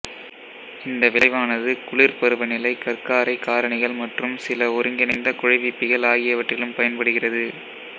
இந்த விளைவானது குளிர் பருவநிலை கற்காரை காரணிகள் மற்றும் சில ஒருங்கிணைந்த குழைவிப்பிகள் ஆகியவற்றிலும் பயன்படுகிறது